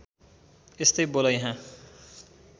यस्तै बोल यहाँ